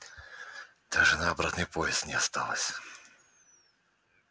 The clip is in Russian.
даже на обратный поезд не осталось